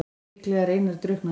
Líklega er Einar drukknaður.